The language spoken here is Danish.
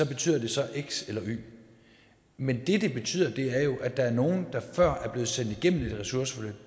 betyder det så x eller y men det det betyder er jo at der er nogle der før er blevet sendt igennem et ressourceforløb